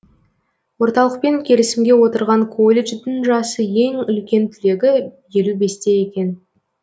орталықпен келісімге отырған колледждің жасы ең үлкен түлегі елу бесте екен